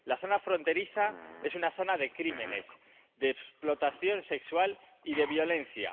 La zona fronteriza es una zona de crímenes, de explotación sexual y de violencia.